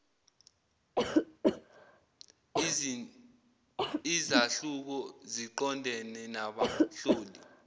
izahluko ziqondene nabahloli